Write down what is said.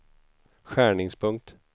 skärningspunkt